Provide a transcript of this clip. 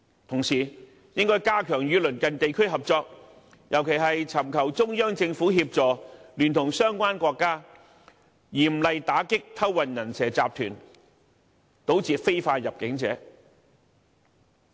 同時，應加強與鄰近地區合作，尤其尋求中央政府協助，聯同相關國家，嚴厲打擊偷運"人蛇"集團，堵截非法入境者。